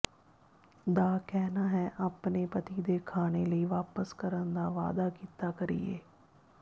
ਦਾ ਕਹਿਣਾ ਹੈ ਆਪਣੇ ਪਤੀ ਦੇ ਖਾਣੇ ਲਈ ਵਾਪਸ ਕਰਨ ਦਾ ਵਾਅਦਾ ਕੀਤਾ ਕਰੀਏ